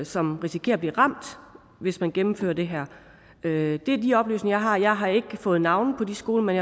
som risikerer at blive ramt hvis man gennemfører det her det er de oplysninger jeg har jeg har ikke fået navne på de skoler men